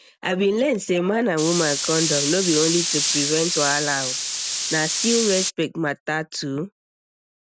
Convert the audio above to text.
i bin learn say man and woman condom no be only to prevent wahala oo na still respect matter too